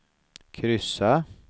kryssa